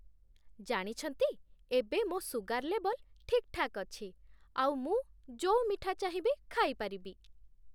ଜାଣିଛନ୍ତି, ଏବେ ମୋ' ସୁଗର ଲେବଲ୍ ଠିକ୍‌ଠାକ୍ ଅଛି ଆଉ ମୁଁ ଯୋଉ ମିଠା ଚାହିଁବି ଖାଇପାରିବି!